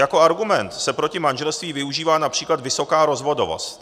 Jako argument se proti manželství využívá například vysoká rozvodovost.